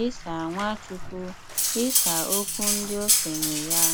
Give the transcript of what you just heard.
'ịsà Nwachukwu 'ịsà ụ̀kwù ndị òkénye yà?